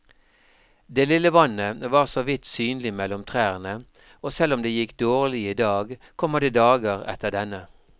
Det lille vannet var såvidt synlig mellom trærne, og selv om det gikk dårlig i dag, kommer det dager etter denne.